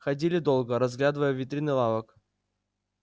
ходили долго разглядывая витрины лавок